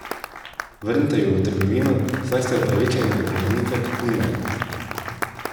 Vrnite ju v trgovino, saj ste upravičeni do povrnitve kupnine.